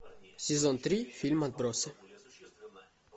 сезон три фильм отбросы